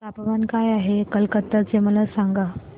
तापमान काय आहे कलकत्ता चे मला सांगा